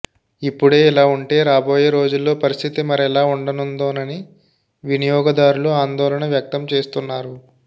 ఇప్పుడే ఇలా ఉంటే రాబోయే రోజుల్లో పరిస్థితి మరెలా ఉండనుందోనని వినియోగదారులు ఆందోళన వ్యక్తం చేస్తున్నారు